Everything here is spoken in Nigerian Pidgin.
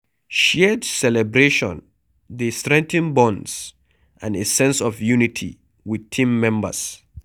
Shared celebration dey strengthen bonds and a sense of unity with team members